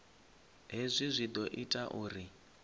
hezwi zwi ḓo ita uri